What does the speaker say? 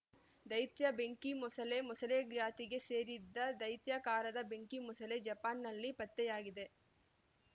ದೈತ್ಯ ಬೆಂಕಿ ಮೊಸಳೆ ಮೊಸಳೆ ಜಾತಿಗೆ ಸೇರಿದ ದೈತ್ಯಾಕಾರದ ಬೆಂಕಿ ಮೊಸಳೆ ಜಪಾನ್‌ನಲ್ಲಿ ಪತ್ತೆಯಾಗಿದೆ